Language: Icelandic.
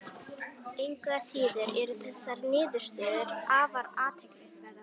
Engu að síður eru þessar niðurstöður afar athyglisverðar.